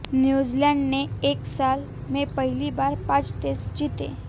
New Zealand ने एक साल में पहली बार पांच टेस्ट जीते